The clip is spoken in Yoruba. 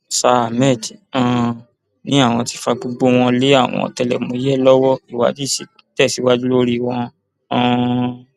sa ahmed um ni àwọn ti fa gbogbo wọn lé àwọn ọtẹlẹmúyẹ lọwọ ìwádìí ṣì ń tẹsíwájú lórí wọn um